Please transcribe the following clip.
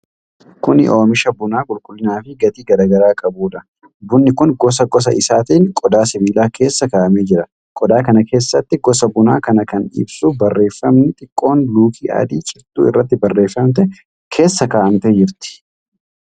Kuni oomisha buna qulqullina fi gatii garaa garaa qabuudha. Bunni kun gosa gosa isaatiin qodaa sibiilaa keessa kaa'amee jira. Qodaa kana keessatti gosa buna kanaa kan ibsu barreegami xiqqoon luukii adii cittuu irratti barreeffamtee keessa kaa'amtee jirti.